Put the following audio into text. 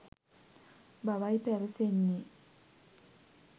බවයි පැවසෙන්නේ.